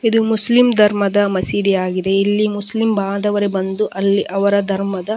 ಇದು ಮುಸ್ಲಿಂ ಧರ್ಮದ ಮಸೀದಿಯಾಗಿದೆ ಇಲ್ಲಿ ಮುಸ್ಲಿಂ ಬಾಂಧವರು ಬಂದು ಅಲ್ಲಿ ಅವರ ಧರ್ಮದ --